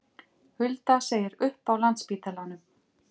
Hulda segir upp á Landspítalanum